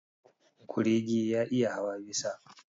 Kurege ya iya hawa bisa.